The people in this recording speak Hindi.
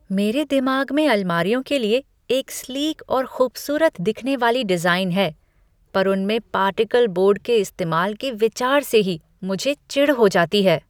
मेरे दिमाग में अलमारियों के लिए एक स्लीक और खूबसूरत दिखने वाली डिजाइन है, पर उनमें पार्टिकल बोर्ड के इस्तेमाल के विचार से ही मुझे चिढ़ हो जाती है।